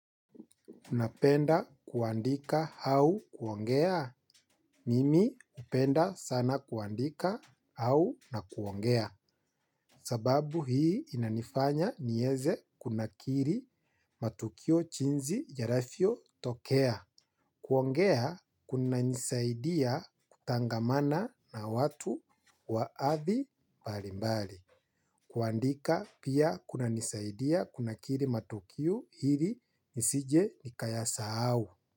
Napenda kuandika au kuongea? Mimi napenda sana kuandika au na kuongea. Sababu hii inanifanya niweze kunakili matukio jiinsi yanavyotokea. Kuongea kuna nisaidia kutangamana na watu wa hadhi mbali mbali. Kuandika pia kuna nisaidia kunakili matukio ili nisije nikaya sahau.